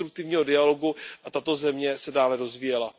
konstruktivního dialogu a tato země se dále rozvíjela.